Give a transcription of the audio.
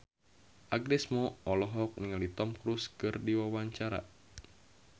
Agnes Mo olohok ningali Tom Cruise keur diwawancara